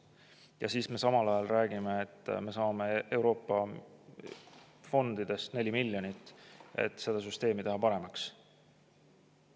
Ja siis me samal ajal räägime, et me saame Euroopa fondidest 4 miljonit eurot, et süsteemi paremaks teha.